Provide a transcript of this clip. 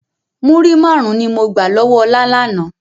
Múrí máarun ni mo gbà lọ́wọ́ ọ̀la lànà.